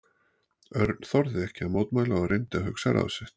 Örn þorði ekki að mótmæla og reyndi að hugsa ráð sitt.